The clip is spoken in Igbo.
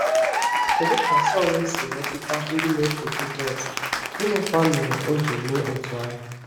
Kedu ka Saulu si metụta ndị na-eso Jisọs, gịnịkwa mere o ji mee otú ahụ?